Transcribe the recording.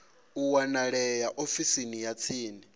a wanalea ofisini ya tsini